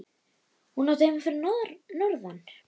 Hún átti heima fyrir norðan.